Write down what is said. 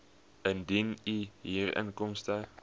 indien u huurinkomste